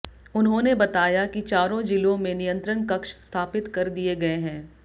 उन्होंने बताया कि चारों जिलो में नियंत्रण कक्ष स्थापित कर दिये गये है